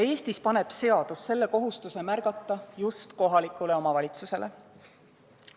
Eestis paneb seadus kohustuse märgata just kohalikule omavalitsusele.